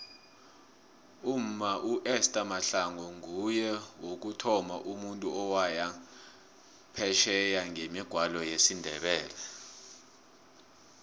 umma uester mahlangu nguye wokuthoma umuntu owaya phesheye ngemigwalo yesindebele